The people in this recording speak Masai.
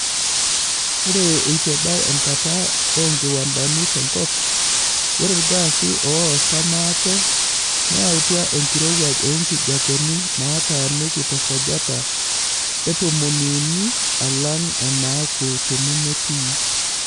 Ore eituebau enkata oonkiwandani tenkop, ore ilgaasi oosa maate neyautua enkirowuaj oo nkiepeni naataaniki tesajata e tomoni uni alang' enaaku tenemetii.